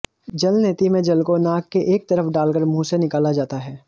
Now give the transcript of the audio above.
जल नेति में जल को नाक के एक तरफ डालकर मुंह से निकाला जाता है